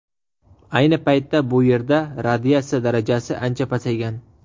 Ayni paytda bu yerda radiatsiya darajasi ancha pasaygan.